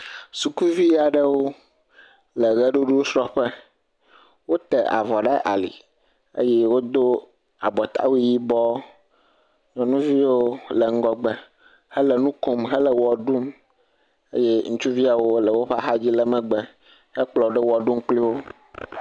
Sukuvi aɖewo le ɣeɖuɖusrɔƒe wota avɔ ɖe ali eye wodo abɔtawu yibɔ nyɔnuviwo le ŋgɔgbe hele nukom hele ɣeɖum eye ŋutsuviawo le woƒe axadzi le megbe he kplɔwoɖo ɣeɖum kpliwo